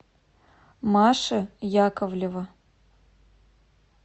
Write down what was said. маши яковлева